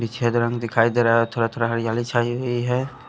विछेद रंग दिखाई दे रहा है थोड़ा-थोड़ा हरियाली छाई हुई है।